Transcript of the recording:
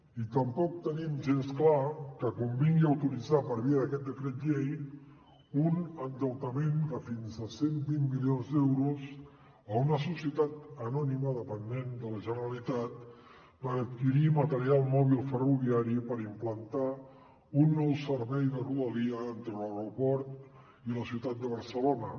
i tampoc tenim gens clar que convingui autoritzar per via d’aquest decret llei un endeutament de fins a cent i vint milions d’euros a una societat anònima dependent de la generalitat per adquirir material mòbil ferroviari per implantar un nou servei de rodalia entre l’aeroport i la ciutat de barcelona